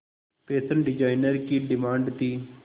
fashion designer की demand थी